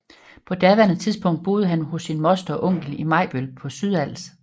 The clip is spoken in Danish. På daværende tidspunkt boede han hos sin moster og onkel i Majbøl på Sydals